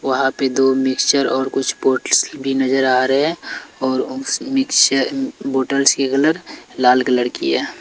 वहाँ पे दो मिक्सर और कुछ बॉटल्स भी नजर आ रहे हैं और उस मिक्सर बॉटल्स के कलर लाल कलर की हैं।